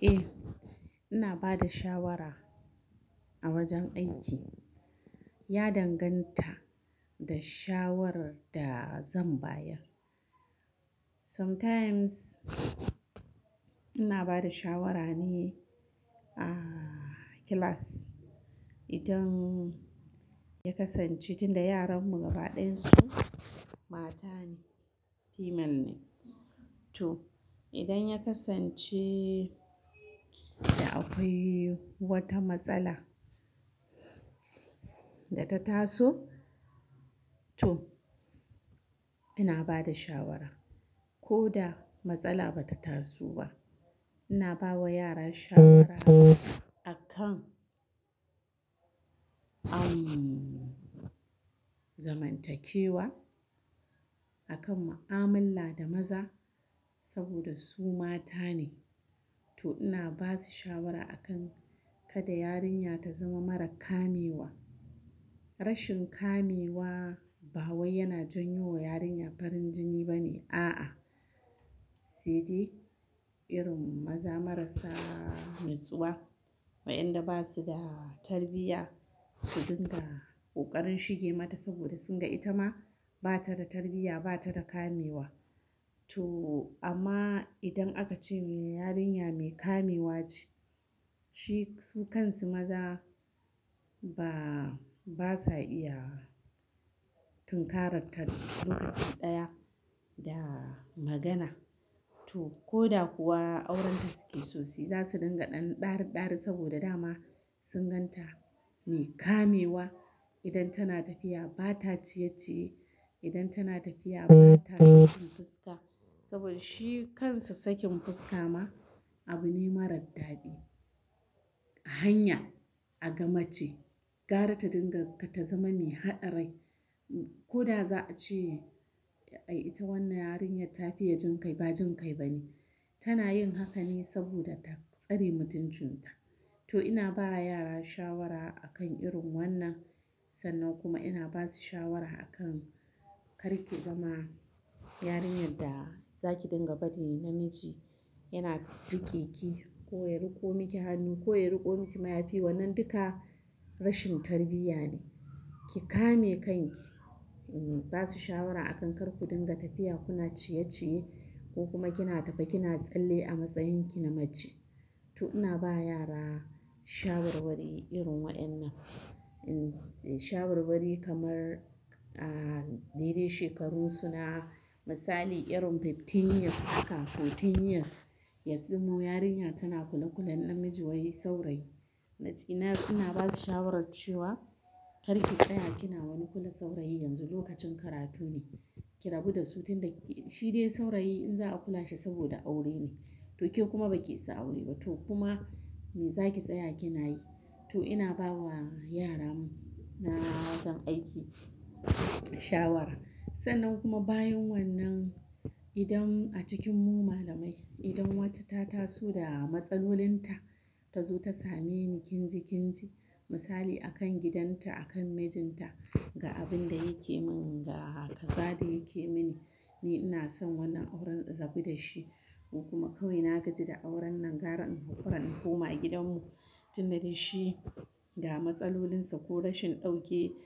Eh, ina ba da shawara a wajen aiki. Ya danganta da shawarar da zan bayar. Sometimes ina ba da shawara ne a class idan ya kasance, tunda yaran mu gaba ɗayan su mata ne, female ne. To, idan ya kasance da akwai wata matsala da ta taso, to ina bada shawara. Ko da matsala ba ta taso ba, ina bawa yara shawara akan, umm, zamantakewa akan ma'amala da maza saboda su mata ne. To ina basu shawara akan kada yarinya ta zama mara kamewa. Rashin kamewa ba wai yana janyo wa yarinya farin jini ba ne, a'a. Sai dai irin maza marasa natsuwa, wayanda ba su da tarbiyya su dinga kokarin shige mata saboda sun ga ita ma ba ta da tarbiyya, ba ta da kamewa. To amma idan aka ce me yarinya mai kamewa ce, shi su kansu maza ba, ba sa iya tunkarar ta lokaci ɗaya da magana. To ko da kuwa aurenta suke sosai, za su dinga ɗan ɗare-ɗare saboda dama sun gan ta mai kamewa. Idan tana tafiya ba ta ciye-ciye, idan tana tafiya ba ta sakin fuska saboda shi kansa sakin fuska ma abu ne marar daɗi. A hanya aga mace gara ta dinga ta zama mai haɗe rai. Ko da za a ce, "Ai ita wannan yarinyar ta fiya jin kai," ba jin kai ba ne. Tana yin haka ne saboda ta tsare mutuncinta. To ina ba yara shawara a kan irin wannan sannan kuma ina basu shawara a kan kar ki zama yarinyar da zaki dinga bari namiji yana rike ki ko ya riko miki hannu ko ya riko miki mayafi. Wannan duka rashin tarbiyya ne. Ki kame kanki. Basu shawara a kan kar ku dinga tafiya kuna ciye-ciye ko kuma kina tafe kina tsalle a matsayin ki na mace. To ina ba yara shawarwari irin waɗannan. Um, shawarwari kamar, ah, dai dai shekarun su na, misali irin fifteen years haka fourteen years ya zamo yarinya tana kula-kulan namiji wai saurayi. Natsina ina basu shawarar cewa kar ki tsaya kina wani kula saurayi yanzu lokacin karatu ne. Ki rabu da su tun da, shi dai saurayi in za a kula shi saboda aure ne. To ke kuma ba ki sa aure ba to kuma me zaki tsaya kina yi? To ina bawa yara na wajen aiki shawara. Sannan kuma bayan wannan idan a cikin mu malamai, idan wata ta taso da matsalolin ta, ta zo ta same ni kinji-kinji, misali akan gidanta, akan mijinta, "Ga abin da yake min, ga kaza da yake mini. Ni ina son wannan auren in rabu da shi ko kuma kawai na gaji da auren nan, gara hukaran hukuma gidanmu." Tun da dai shi da matsalolinsa ko rashin dauke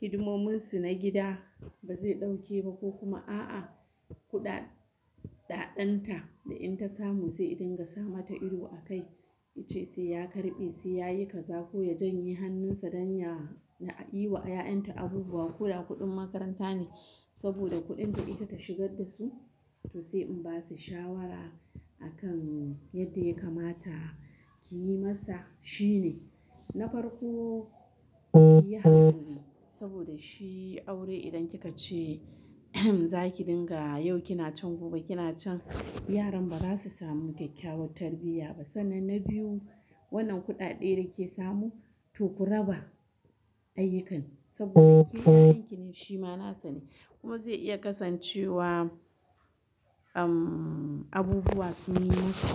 hidimominsu na gida ba zai dauke ba ko kuma a'a kuɗaɗen ta da in ta samu zai dinga sa mata ido a kai. Yace sai ya karɓe, sai yayi kaza ko ya janye hannun sa don ya na yi wa 'ya'yan ta abubuwa. Koda kuɗin makaranta ne saboda kuɗin da ita ta shigar da su. To sai in basu shawara a kan yadda ya kamata ki yi masa. Shi ne. Na farko kiyi hakuri saboda shi aure idan kika ce zaki dinga yau kina can gobe kina can, yaran ba za su samu kyakkyawar tarbiyya ba. Sannan na biyu, wannan kuɗaɗe da kike samu to ku raba ayyukan saboda ke da yayan ki ne shi ma nasa ne kuma zai iya kasancewa, umm, abubuwa sun yi masa.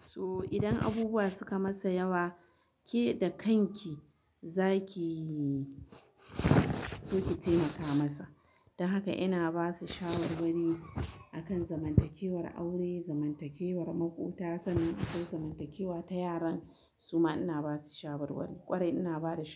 So idan abubuwa suka masa yawa, ke da kanki za kiyi so ki taimaka masa. Don haka ina basu shawarwari akan zamantakewar aure, zamantakewar makota sannan ko zamantakewa ta yaran suma ina basu shawarwari. Ƙwari ina bada sha-